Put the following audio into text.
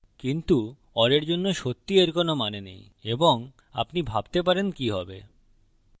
কিন্তু or এর জন্য সত্যিই এর কোনো মানে নেই এবং আপনি ভাবতে পারেন কি হবে